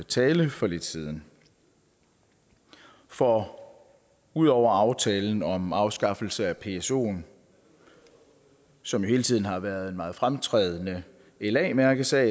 tale for lidt siden for ud over aftalen om afskaffelse af psoen som jo hele tiden har været en meget fremtrædende la mærkesag